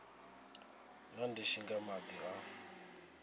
na ndishi nga madi o